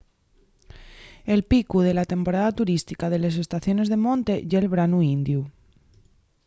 el picu de la temporada turística de les estaciones de monte ye'l branu indiu